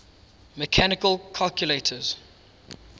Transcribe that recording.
mechanical calculators